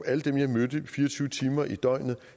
alle dem jeg mødte fire og tyve timer i døgnet